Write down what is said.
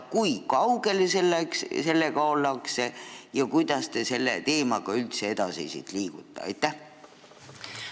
Kui kaugel sellega ollakse ja kuidas te üldse selle teemaga edasi liikuda plaanite?